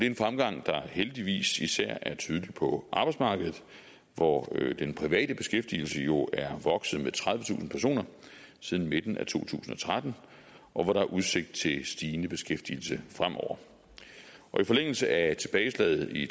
en fremgang der heldigvis især er tydelig på arbejdsmarkedet hvor den private beskæftigelse jo er vokset med tredivetusind personer siden midten af to tusind og tretten og hvor der er udsigt til stigende beskæftigelse fremover i forlængelse af tilbageslaget i